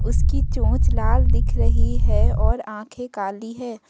इसकी चोंच लाल दिख रही है और आंखें काली है।